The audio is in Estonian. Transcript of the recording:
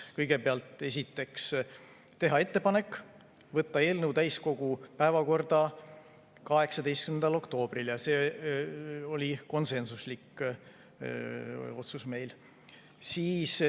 Esiteks, teha ettepanek võtta eelnõu täiskogu päevakorda 18. oktoobril, see oli konsensuslik otsus.